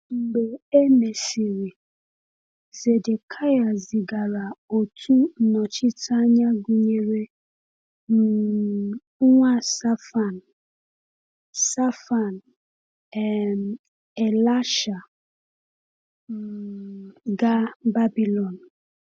Mgbe e mesịrị, Zedekịa zigara otu nnọchiteanya gụnyere um nwa Shaphan, Shaphan, um Elasah, um gaa Babilọn.